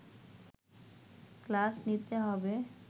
class নিতে হবে